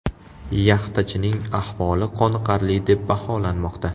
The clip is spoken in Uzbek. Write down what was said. Yaxtachining ahvoli qoniqarli deb baholanmoqda.